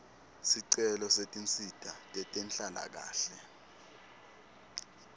sicelo setinsita tetenhlalakahle